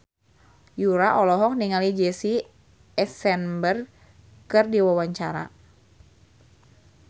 Yura olohok ningali Jesse Eisenberg keur diwawancara